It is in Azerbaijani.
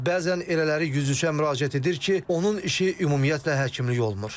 Amma bəzən elələri yüz-üzə müraciət edir ki, onun işi ümumiyyətlə həkimlik olmur.